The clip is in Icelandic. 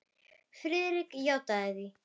Friðrik játti því.